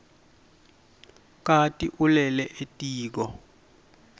kati ulele etiko